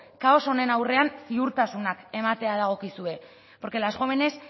kaos honen aurrean ziurtasunak ematea dagokizue porque las jóvenes